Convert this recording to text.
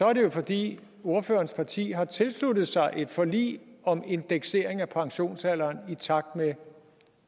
er det jo fordi ordførerens parti har tilsluttet sig et forlig om indeksering af pensionsalderen i takt med